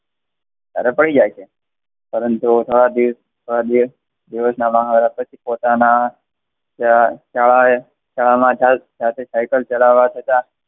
અને પડી જાય છે.